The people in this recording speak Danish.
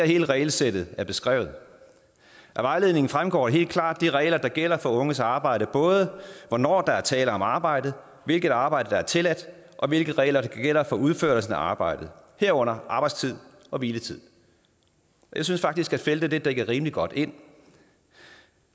hele regelsættet er beskrevet af vejledningen fremgår de helt klare regler der gælder for unges arbejde både hvornår der er tale om arbejde hvilket arbejde der tilladt og hvilke regler der gælder for udførelsen af arbejdet herunder arbejdstid og hviletid jeg synes faktisk at feltet er dækket rimelig godt ind